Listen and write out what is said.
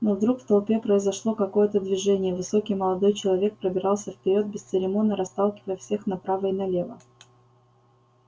но вдруг в толпе произошло какое-то движение высокий молодой человек пробирался вперёд бесцеремонно расталкивая всех направо и налево